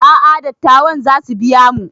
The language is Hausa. A'a dattawan zasu biya mu